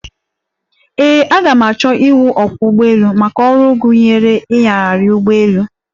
Ee, aga m achọ iwụ ọkwọ́ ụgbọelu, maka ọrụ gụnyere inyagharị ụgbọelu.